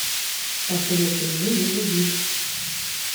посоветуй мне без обид